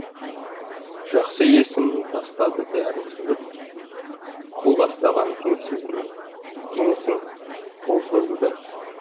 жақсы есімнің тастады бәрін сызып құл бастаған кеңесің қол созды да